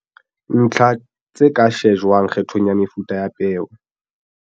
Ntlha tse ka shejwang kgethong ya mefuta ya peo